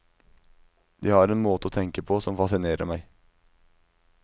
De har en måte å tenke på som fascinerer meg.